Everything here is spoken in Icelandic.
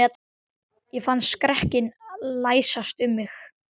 Ég fann skrekkinn læsast um mig.